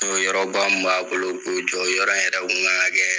yɔrɔ ba min b'a bolo k'o jɔ o yɔrɔ yɛrɛ kun ka kan ka kɛ.